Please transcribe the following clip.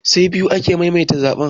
Say biyu aka maimaita zaɓen